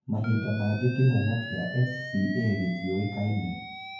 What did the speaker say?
Mahinda mangĩ kĩhumo kĩa SCA ngĩtiũĩkaine.